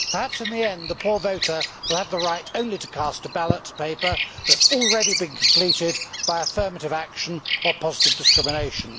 Perhaps in the end the poor voter will have the right only to cast a ballot paper that has already been completed by affirmative action or positive discrimination.